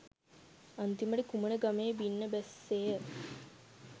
අන්තිමට කුමන ගමේ බින්න බැස්සේය